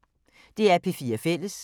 DR P4 Fælles